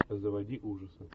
заводи ужасы